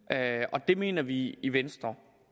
og det mener vi i i venstre